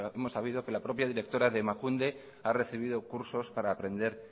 hemos sabido que la propia directora de emakunde ha recibido cursos para aprender